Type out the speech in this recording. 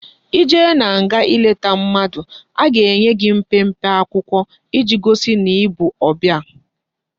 I jee na nga i leta mmadu a ga enye gi mpempe akwukwo iji gosi na ibu obia